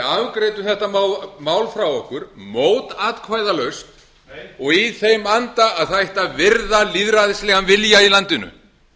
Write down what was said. afgreiddum þetta mál frá okkur mótatkvæðalaust nei og í þeim anda að það ætti að virða lýðræðislegan vilja í landinu